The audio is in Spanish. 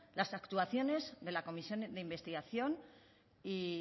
las actuaciones de la comisión de investigación y